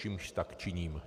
Čímž tak činím.